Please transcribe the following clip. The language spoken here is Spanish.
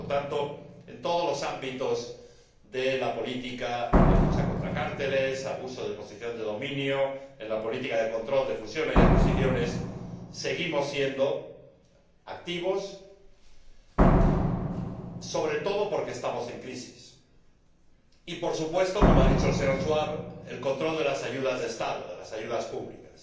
Por lo tanto, en todos los ámbitos de la política de lucha contra los cárteles, contra el abuso de la posición de dominio, en la política de control de fusiones y adquisiciones, seguimos siendo activos, sobre todo porque estamos en crisis. Y, por supuesto, como ha dicho el señor Schwab, el control de las ayudas de Estado, de las ayudas públicas,